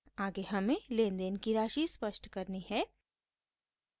आगे हमें लेनदेन की राशि स्पष्ट करनी है